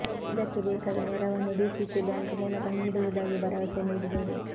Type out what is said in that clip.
ಇದಕ್ಕೆ ಬೇಕಾದ ನೆರವನ್ನು ಡಿಸಿಸಿ ಬ್ಯಾಂಕ್ ಮೂಲಕ ನೀಡುವುದಾಗಿ ಭರವಸೆ ನೀಡಿದರು